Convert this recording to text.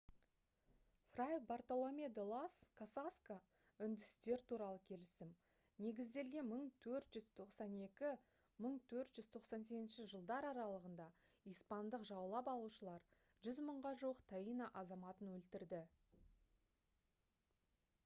фрай бартоломе-де-лас касасқа үндістер туралы келісім негізделген 1492 - 1498 жылдар аралығында испандық жаулап алушылар 100 мыңға жуық таино азаматын өлтірді